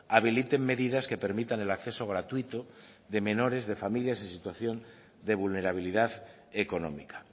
habiliten medidas que permitan el acceso gratuito de menores de familias en situación de vulnerabilidad económica